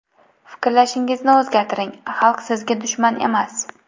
Fikrlashingizni o‘zgartiring, xalq sizga dushman emas.